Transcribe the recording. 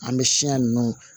An bɛ siɲɛ ninnu